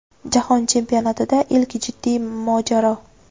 Jahon chempionatida ilk jiddiy mojaro.